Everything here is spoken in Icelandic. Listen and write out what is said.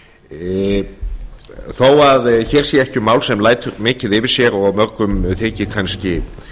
geitfjárstofnsins þó að hér sé ekki mál sem lætur mikið yfir sér og mörgum þykir kannski